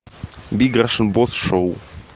биг рашн босс шоу